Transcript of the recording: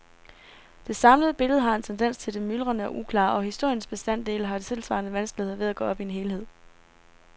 Det samlede billede har en tendens til det myldrende og uklare, og historiens bestanddele har tilsvarende vanskeligheder ved at gå op i en helhed.